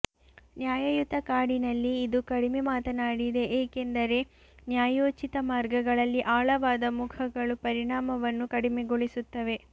ನ್ಯಾಯಯುತ ಕಾಡಿನಲ್ಲಿ ಇದು ಕಡಿಮೆ ಮಾತನಾಡಿದೆ ಏಕೆಂದರೆ ನ್ಯಾಯೋಚಿತ ಮಾರ್ಗಗಳಲ್ಲಿ ಆಳವಾದ ಮುಖಗಳು ಪರಿಣಾಮವನ್ನು ಕಡಿಮೆಗೊಳಿಸುತ್ತವೆ